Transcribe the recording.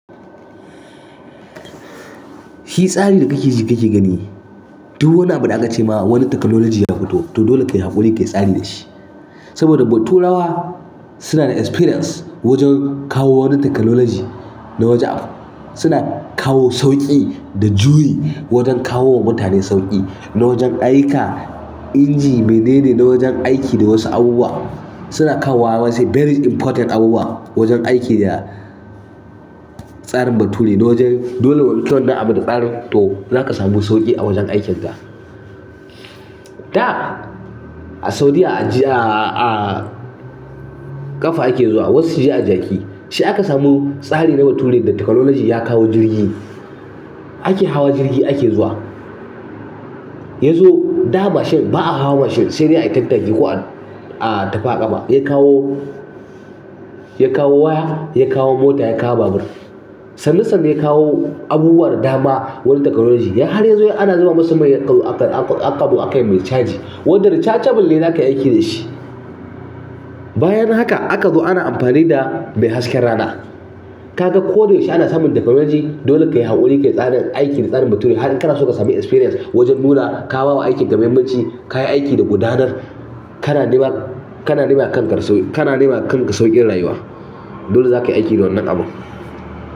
Fi tsarin da kake ji kake gani. Duwwani abu da aka cema wani technology ya fito, to dole kayi haƙuri kayi tsari dashi. Saboda baturawa suna da experience wajen kawo wani technology na waje. Suna kawo sauƙi da juyi wajen kawo wa mutane sauƙi na wajen aika inji menene na wajen aiki da wasu abubuwa. Suna kawo wa wasu very important abubuwa wajen aiki da tsarin bature na wajen dole wani tuwon da abu da tsarin to zaka samu sauƙi a wajen aikinta. Da a Saudiya a jiya a ƙafa ake zuwa, wasu suje a jaki. Sai aka samu tsari na bature da technology ya kawo jirgi. Ake hawa jirgi ake zuwa. Yazo da mashin ba a hawa mashin sai dai a yi tattaki ko a tafi ƙafa. Ya kawo, ya kawo waya, ya kawo mota, ya kawo babur. Sannu sannu ya kawo abubuwan dama-dama wurin technology. Har yazo ana zuba masa mai akazo aƙa akai yi mai caji. Wanda rechargeble ne zaka yi aiki da shi. Bayan haka aka zo ana amfani da mai hasken rana. Kaga ko da yaushe ana samun technology dole ka yi haƙuri ka yi tsarin aiki da tsarin bature. Har in kana so ka sami experience wajen nuna ka ba wa aikin ka muhimmanci, ka yi aiki da gudanar kana nema. Kana nemawa kanka sauƙin rayuwa. Dole zaka yi aiki da wannan abun.